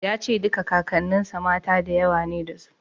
Ya ce duka Kakanninsa mata da yawa ne dasu.